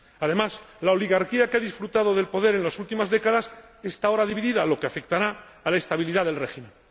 Además, la oligarquía que ha disfrutado del poder en las últimas décadas está ahora dividida, lo que afectará a la estabilidad del régimen.